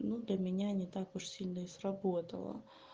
ну до меня не так уж сильно и сработало